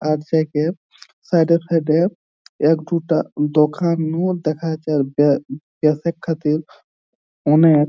আর সেকে সাইড এ সাইড এ এক দুটা দোকানু দেখা যাচ্ছে আর অনেক।